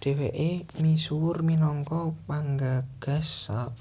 Dhèwèké misuwur minangka panggagas